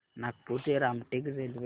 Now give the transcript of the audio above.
नागपूर ते रामटेक रेल्वेगाडी